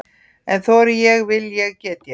En þori ég, vil ég, get ég?